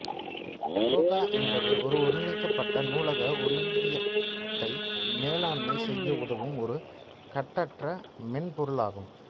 கோகா என்பது ஒரு ஒருங்கிணைக்கப்பட்ட நூலக ஒருங்கியத்தை மேலாண்மை செய்ய உதவும் ஒரு கட்டற்ற மென்பொருள் ஆகும்